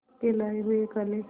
के लाए हुए काले